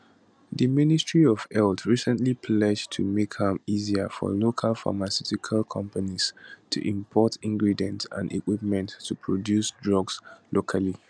di ministry of health recently pledge to make am easier for local pharmaceutical companies to import ingredients and equipment to produce drugs locally